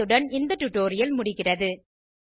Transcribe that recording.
இத்துடன் இந்த டுடோரியல் முடிகிறது